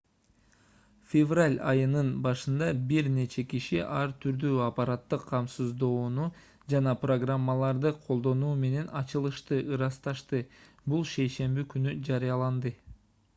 февраль айынын башында бир нече киши ар түрдүү аппараттык камсыздоону жана программаларды колдонуу менен ачылышты ырасташты бул шейшемби күнү жарыяланды